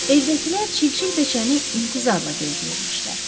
Evdəkilər çilçil beçəni intizarla gözləyirmişlər.